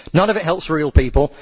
None of it helps real people.